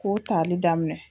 K'o tali daminɛ.